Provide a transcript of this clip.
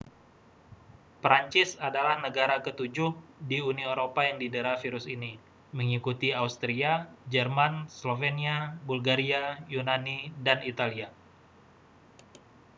prancis adalah negara ketujuh di uni eropa yang didera virus ini mengikuti austria jerman slovenia bulgaria yunani dan italia